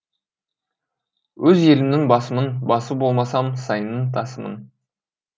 өз елімнің басымын басы болмасам сайының тасымын